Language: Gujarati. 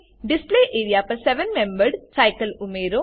ડિસ્પ્લે એરિયા પર સેવેન મેમ્બર્ડ સાઈકલ ઉમેરો